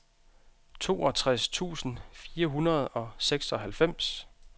toogtres tusind fire hundrede og seksoghalvfems